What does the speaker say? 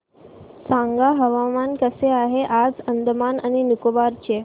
सांगा हवामान कसे आहे आज अंदमान आणि निकोबार चे